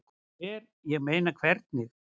Hvar, ég meina. hvernig?